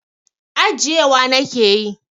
Ajiyewa nake yi.